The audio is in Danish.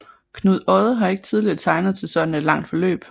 Knud Odde har ikke tidligere tegnet til sådant et langt forløb